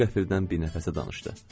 O qəfildən bir nəfəsə danışdı.